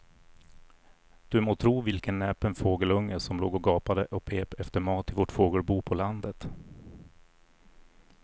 Du må tro vilken näpen fågelunge som låg och gapade och pep efter mat i vårt fågelbo på landet.